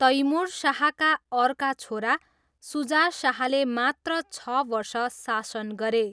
तैमुर शाहका अर्का छोरा सुजा शाहले मात्र छ वर्ष शासन गरे।